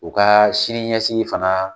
U ka sini ɲɛsigi fana.